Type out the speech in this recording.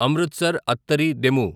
Amritsar Attari DEMU